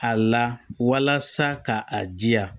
A la walasa ka a jiya